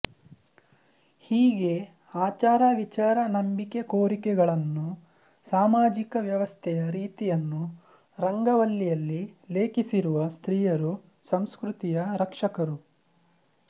ಹೀಗೆ ಆಚಾರ ವಿಚಾರ ನಂಬಿಕೆ ಕೋರಿಕೆಗಳನ್ನೂ ಸಾಮಾಜಿಕ ವ್ಯವಸ್ಥೆಯ ರೀತಿಯನ್ನೂ ರಂಗವಲ್ಲಿಯಲ್ಲಿ ಲೇಖಿಸಿರುವ ಸ್ತ್ರೀಯರು ಸಂಸ್ಕೃತಿಯ ರಕ್ಷಕರು